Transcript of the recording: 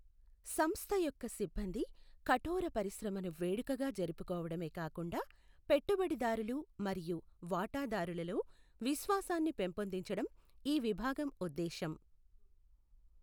సంస్థ యొక్క సిబ్బంది కఠోర పరిశ్రమని వేడుకగా జరుపుకోవడమే కాకుండా పెట్టుబడిదారులు మరియు వాటాదారులలో విశ్వాసాన్ని పెంపొందించడం ఈ విభాగం ఉద్దేశం.